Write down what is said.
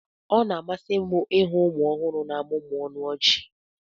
ọ na-amasị m ịhụ ụmụ ọhụrụ na-amụmụ ọnụ ọchị